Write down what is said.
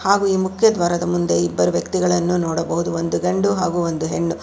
ಹಾಗು ಈ ಮುಖ್ಯ ದ್ವಾರದ ಮುಂದೆ ಇಬ್ಬರು ವ್ಯಕ್ತಿಗಳನ್ನು ನೋಡಬಹುದು ಒಂದು ಗಂಡು ಹಾಗು ಒಂದು ಹೆಣ್ಣು.